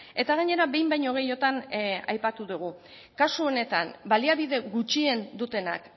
eta gainera behin baino gehiagotan aipatu dugu kasu honetan baliabide gutxien dutenak